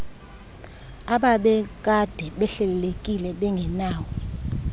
ababekade behlelekile bengenawo